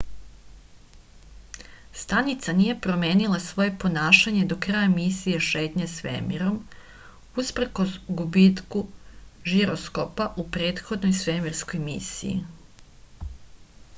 stanica nije promenila svoje ponašanje do kraja misije šetnje svemirom uprkos gubitku žiroskopa u prethodnoj svemirskoj misiji